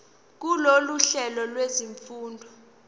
kulolu hlelo lwezifundo